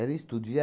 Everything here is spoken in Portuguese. estúdio.